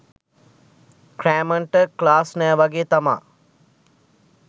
ක්‍රෑමන්ට class නෑ වගේ තමා